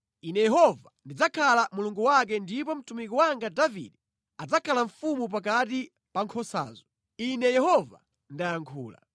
Ine Yehova ndidzakhala Mulungu wake ndipo mtumiki wanga Davide adzakhala mfumu pakati pa nkhosazo. Ine Yehova ndayankhula.